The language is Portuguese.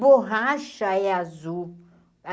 Borracha é azul.